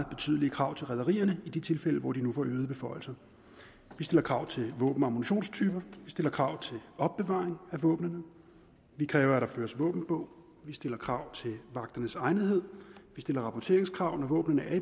betydelige krav til rederierne i de tilfælde hvor de nu får øgede beføjelser vi stiller krav til våben og ammunitionstyper vi stiller krav til opbevaring af våbnene vi kræver at der føres våbenbog vi stiller krav til vagternes egnethed vi stiller rapporteringskrav når våbnene